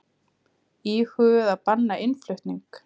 Íhuguðu að banna innflutning